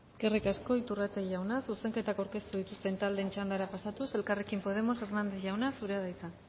eskerrik asko iturrate jauna zuzenketak aurkeztu dituzten taldeen txandara pasatuz elkarrekin podemos hernández jauna zurea da hitza